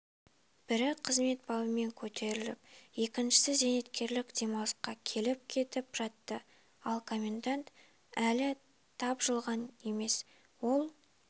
бірі қызмет бабымен көтеріліп екіншісі зейнеткерлік демалысқа келіп-кетіп жатты ал комендант әлі тапжылған емес ол